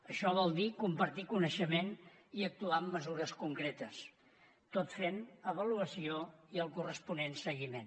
això vol dir compartir coneixement i actuar amb mesures concretes tot fent avaluació i el corresponent seguiment